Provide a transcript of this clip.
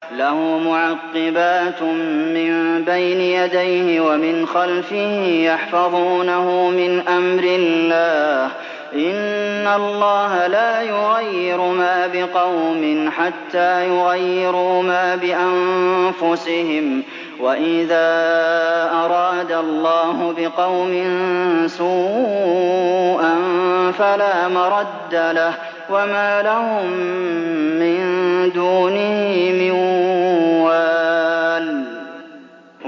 لَهُ مُعَقِّبَاتٌ مِّن بَيْنِ يَدَيْهِ وَمِنْ خَلْفِهِ يَحْفَظُونَهُ مِنْ أَمْرِ اللَّهِ ۗ إِنَّ اللَّهَ لَا يُغَيِّرُ مَا بِقَوْمٍ حَتَّىٰ يُغَيِّرُوا مَا بِأَنفُسِهِمْ ۗ وَإِذَا أَرَادَ اللَّهُ بِقَوْمٍ سُوءًا فَلَا مَرَدَّ لَهُ ۚ وَمَا لَهُم مِّن دُونِهِ مِن وَالٍ